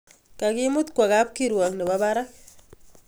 Kakimut kwo kapkirwok nebo barak